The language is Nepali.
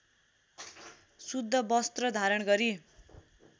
शुद्ध वस्त्र धारण गरी